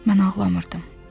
Mən ağlamırdım.